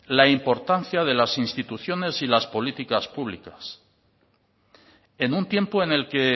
la importancia de las instituciones y las políticas públicas en un tiempo en el que